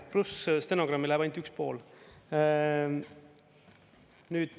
Pluss stenogrammi läheb ainult üks pool.